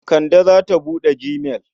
Kande za ta buɗe gmail.